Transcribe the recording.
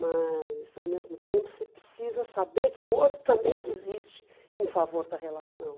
Mas ao mesmo tempo você precisa saber que o outro também desiste em favor da relação.